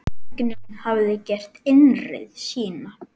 Tæknin hafði gert innreið sína.